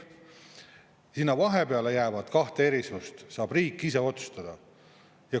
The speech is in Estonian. Sinna vahepeale jäävat kahte erisust saab riik ise otsustada.